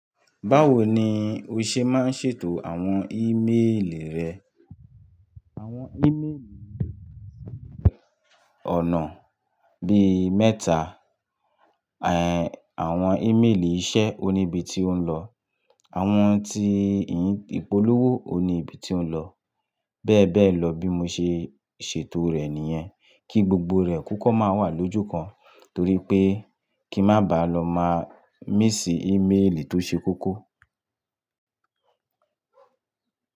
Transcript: Báwo ni o ṣe máa ń ṣètò àwọn ímeèlì rẹ? Àwọn ímeèlì ní ìgbà ṣe pẹ̀ ọ̀nà bí mẹ́ta. Àwọn ímeèlì iṣẹ́ oníbi tí ó ń lọ, àwọn tí ìpolówó oníbi tí ó ń lọ bẹ́ẹ̀ bẹ́ẹ̀ lọ bí mo ṣe ṣètò rẹ̀ nìyẹn. Kí gbogbo rẹ̀ kúkọ́ máa wà lójú kan torí pé kí má ba lọ má míssí ímeèlì tó ṣe kókó.